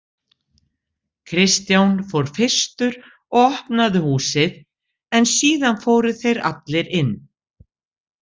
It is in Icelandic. Kristján fór fyrstur og opnaði húsið en síðan fóru þeir allir inn.